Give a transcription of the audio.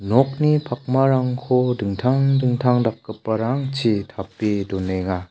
nokni pakmarangko dingtang dingtang dakgiparangchi tape donenga.